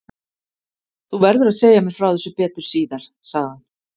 Þú verður að segja mér frá þessu betur síðar sagði hann.